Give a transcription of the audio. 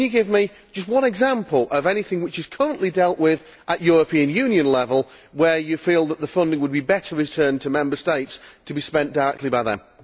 Can you give me just one example of anything which is currently dealt with at European Union level where you feel that the funding would be better returned to Member States to be spent directly by them?